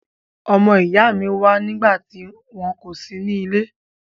Ọmọ ìyá mi wa nígbàtí wo kò si nílé